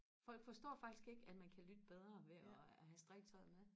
folk forstår faktisk ikke at man kan lytte bedre ved og have strikketøjet med